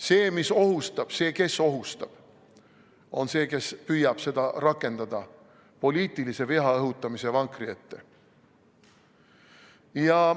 See, mis ohustab, see, kes ohustab, on see, kes püüab seda rakendada poliitilise viha õhutamise vankri ette.